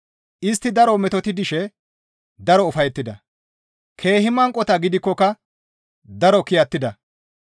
Istti daro metoti dishe daro ufayettida; keehi manqota gidikkoka daro kiyattida.